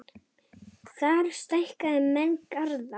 Þar stækka menn garða.